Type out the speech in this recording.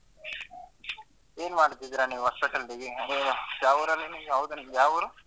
ಏನ್ ಮಾಡ್ತಿದೀರಾ ನೀವು ಹೊಸಪೇಟೆ ಅಲ್ಲಿ ಯಾವ್ ಊರಲ್ಲಿ ಯಾವ್ದು ನಿಮ್ದು ಯಾವ್ ಊರು?